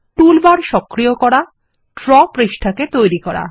toolbar সক্রিয় করা draw পৃষ্ঠাকে তৈরী করা